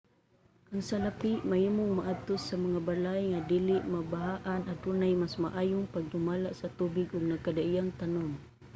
ang salapi mahimong maadto sa mga balay nga dili mabahaan adunay mas maayong pagdumala sa tubig ug nagkadaiyang tanum